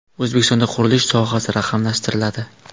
O‘zbekistonda qurilish sohasi raqamlashtiriladi.